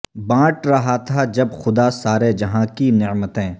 بانٹ رہا تھا جب خدا سارے جہاں کی نعمتیں